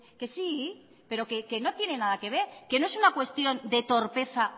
que sí pero que no tiene nada que ver que no es una cuestión de torpeza